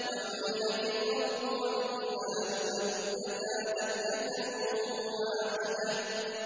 وَحُمِلَتِ الْأَرْضُ وَالْجِبَالُ فَدُكَّتَا دَكَّةً وَاحِدَةً